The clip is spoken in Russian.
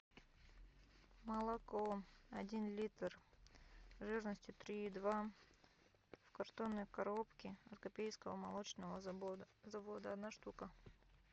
молоко один литр жирностью три и два в картонной коробке от копейского молочного завода одна штука